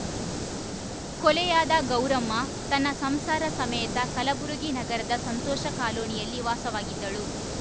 ಕೊಲೆಯಾದ ಗೌರಮ್ಮ ತನ್ನ ಸಂಸಾರ ಸಮೇತ ಕಲಬುರಗಿ ನಗರದ ಸಂತೋಷ ಕಾಲೋನಿಯಲ್ಲಿ ವಾಸವಾಗಿದ್ದಳು